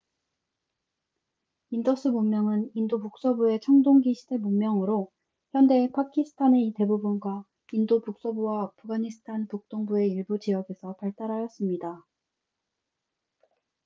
인더스 문명은 인도 북서부의 청동기 시대 문명으로 현대 파키스탄의 대부분과 인도 북서부와 아프가니스탄 북동부의 일부 지역에서 발달하였습니다